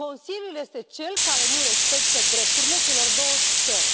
Consiliul este cel care nu respectă drepturile celor două țări.